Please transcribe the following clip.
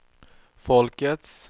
folkets